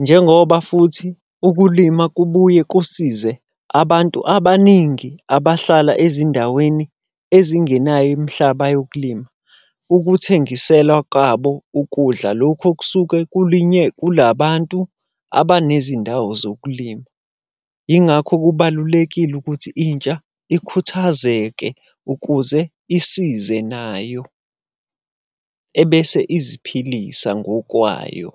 Njengoba futhi ukulima kubuye kusize abantu abaningi abahlala ezindaweni ezingenayo imihlaba yokulima. Ukuthengisela kwabo ukudla lokhu okusuke kulinye kula bantu abanezindawo zokulima. Yingakho kubalulekile ukuthi intsha ikhuthazeke ukuze isize nayo, ebese iziphilisa ngokwayo.